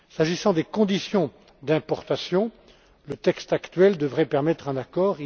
S'agissant des conditions d'importation, le texte actuel devrait permettre un accord